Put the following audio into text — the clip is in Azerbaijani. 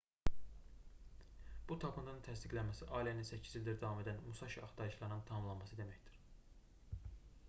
bu tapıntının təsdiqlənməsi allenin 8 ildir davam edən musaşi axtarışlarının tamamlanması deməkdir